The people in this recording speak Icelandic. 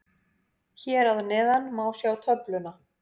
Hér að neðan má sjá töfluna.